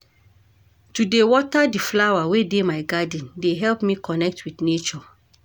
To dey water di flower wey dey my garden dey help me connect wit nature.